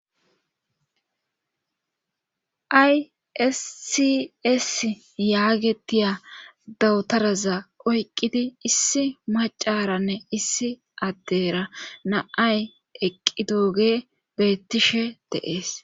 Ayssis yaagetiya dawutaraza oyqqidi issi macaranne issi addera naay eqqi dooge beettishe deees.